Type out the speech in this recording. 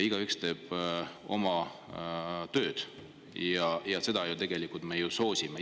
Igaüks teeb oma tööd ja seda me tegelikult ju soosime.